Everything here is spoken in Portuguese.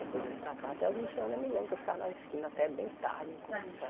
Depois eu vim para cá, até os vinte anos eu me lembro que eu ficava na esquina até bem tarde, conversando,